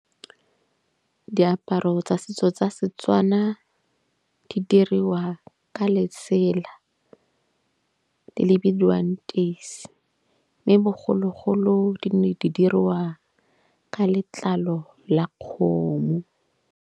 Diaparo tsa setso tsa Setswana di diriwa ka letsela le bidiwang teisi. Mme bogologolo di nne di dirwa ka letlalo la kgomo.